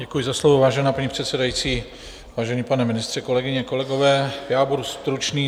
Děkuji za slovo, vážená paní předsedající, vážený pane ministře, kolegyně, kolegové, já budu stručný.